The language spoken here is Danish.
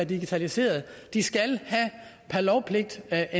digitaliseringen vi skal per lovpligt have